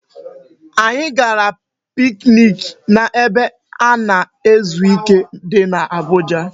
Anyị gara piknik n'ebe a na-ezu ike di n'Abuja